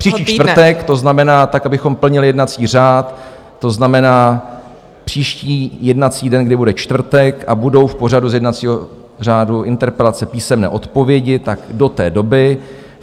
Příští čtvrtek, to znamená tak, abychom plnili jednací řád, to znamená, příští jednací den, kdy bude čtvrtek a budou v pořadu z jednacího řádu interpelace, písemné odpovědi, tak do té doby.